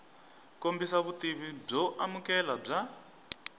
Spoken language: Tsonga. kombisa vutivi byo amukeleka bya